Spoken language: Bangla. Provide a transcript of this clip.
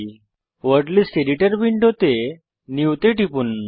ওয়ার্ড লিস্ট এডিটর উইন্ডোতে নিউ তে টিপুন